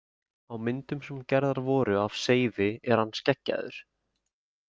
Á myndum sem gerðar voru af Seifi er hann skeggjaður.